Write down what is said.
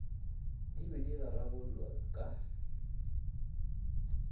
di be di rarabololwa ka